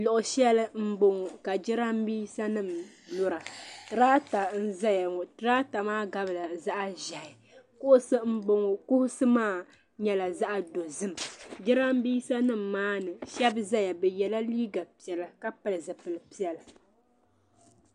Luɣushɛli n bɔŋo ka jiranbiisa nima mɛra tiraata n zaya ŋɔ tiraata gabila zaɣa ʒiɛhi kuɣusi n bɔŋo kuɣusi maa nyɛla zaɣa dozim jiranbiisa nima maa ni shaba n zaya bi yɛla liiga piɛlla ka pili zipili piɛlla.